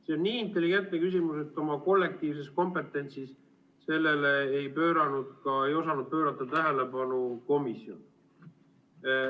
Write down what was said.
See on nii intelligentne küsimus, et oma kollektiivses kompetentsis ei osanud komisjon sellele tähelepanu pöörata.